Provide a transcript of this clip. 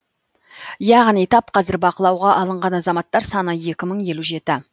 яғни тап қазір бақылауға алынған азаматтар саны екі мың елу жеті